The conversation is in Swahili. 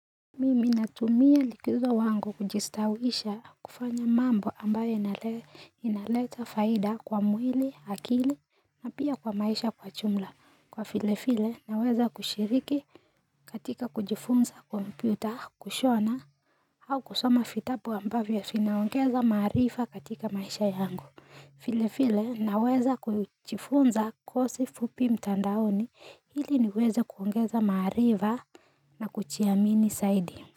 Mimi natumia likizo wangu kujistawisha kufanya mambo ambayo inaleta faida kwa mwili, akili na pia kwa maisha kwa jumla, kwa vile vile naweza kushiriki katika kujifunza kompyuta, kushona au kusoma vitabu ambavyo vinaongeza maarifa katika maisha yangu. Vile vile, naweza kujifunza kozi fupi mtandaoni ili niweze kuongeza maarifa na kujiamini zaidi.